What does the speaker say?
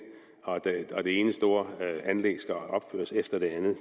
når det ene store anlæg efter det andet